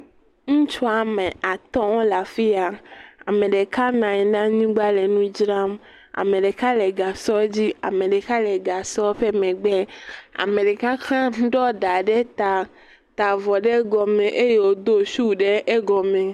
Ŋutsu woame atɔ̃ wole afi ya, ame ɖeka nɔ anyi ɖe anyigba le nu dzram, ame ɖeka le gasɔ dzi ame ɖeka le gasɔ ƒe megbe ame ɖeka hã ɖɔ ɖa ɖe ta ta avɔ ɖe egɔme do shoe ɖe egɔme.